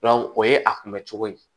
o ye a kunbɛ cogo ye